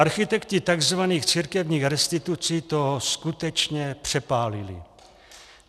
Architekti tzv. církevních restitucí to skutečně přepálili.